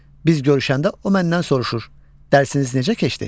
Biz görüşəndə o məndən soruşur: Dərsiniz necə keçdi?